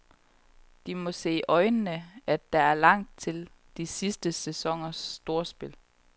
De må se i øjnene, at der er langt til de sidste sæsoners storspil.